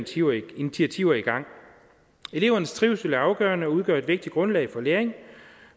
initiativer i gang elevernes trivsel er afgørende og udgør et vigtigt grundlag for læring